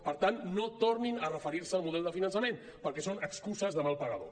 per tant no tornin a referir se al model de finançament perquè són excuses de mal pagador